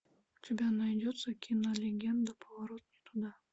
у тебя найдется кино легенда поворот не туда